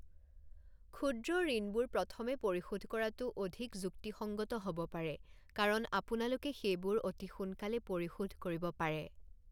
ক্ষুদ্ৰ ঋণবোৰ প্ৰথমে পৰিশোধ কৰাটো অধিক যুক্তিসঙ্গত হ'ব পাৰে, কাৰণ আপোনালোকে সেইবোৰ অতি সোনকালে পৰিশোধ কৰিব পাৰে।